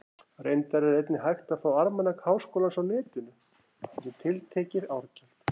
Reyndar er einnig hægt að fá Almanak Háskólans á Netinu, fyrir tiltekið árgjald.